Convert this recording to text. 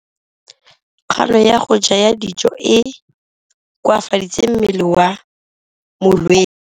Kganô ya go ja dijo e koafaditse mmele wa molwetse.